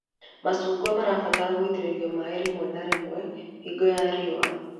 Macungwa mabataraga gũitĩrĩrio maĩ rĩmwe na rĩmwe hingo ya riũa